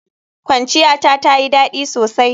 Kwanciyata tayi dadi sosai.